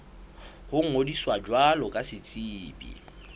ho ngodisa jwalo ka setsebi